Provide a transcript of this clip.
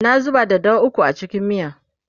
na zuba daddawa ukwu a cikin miyan